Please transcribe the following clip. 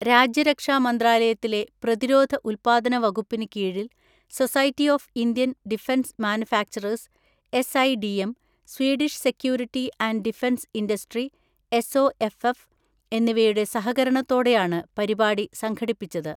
രാജ്യരക്ഷാ മന്ത്രാലയത്തിലെ പ്രതിരോധ ഉത്പാദന വകുപ്പിന് കീഴിൽ, society of Indian defence manufacturers (S I D M), Swedish security and defence industry (S O F F) എന്നിവയുടെ സഹകരണത്തോടെയാണ് പരിപാടി സംഘടിപ്പിച്ചത്.